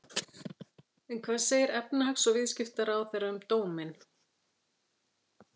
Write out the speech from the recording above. En hvað segir efnahags- og viðskiptaráðherra um dóminn?